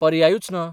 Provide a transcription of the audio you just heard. पर्यायूच ना.